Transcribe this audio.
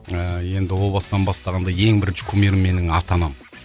ыыы енді ол бастан бастағанда ең бірінші кумирім менің ата анам